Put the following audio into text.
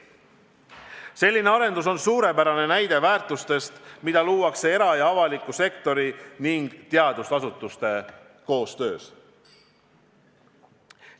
Selline arendus on suurepärane näide väärtustest, mida luuakse era- ja avaliku sektori ning teadusasutuste koostöös.